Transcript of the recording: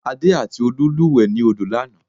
Adé àti Olú lúùwẹ́ ni odo lanàá